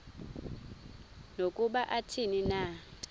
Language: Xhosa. nokuba athini na